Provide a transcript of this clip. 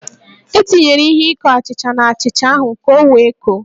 E tinyere ihe ikó achịcha n'achịcha ahụ ka o wee koó